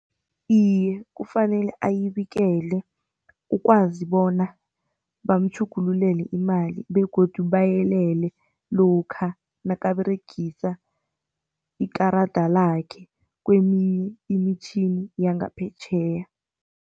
Iye, kufanele ayibikele ukwazi bona bamtjhugululele imali begodu bayelele lokha nakaberegisa ikarada lakhe kweminye imitjhini yangaphetjheya.